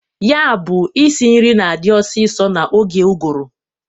Ya bụ isi nri na-adị ọsịsọ n'oge ụgụrụ.